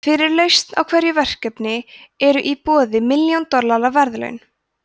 fyrir lausn á hverju verkefni eru í boði milljón dollara verðlaun